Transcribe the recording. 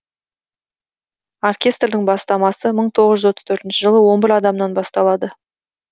оркестрдің бастамасы мың тоғыз жүз отыз төртінші жылы он бір адамнан басталады